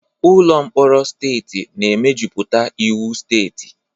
Ụlọ mkpọrọ steeti na-emejuputa iwu steeti.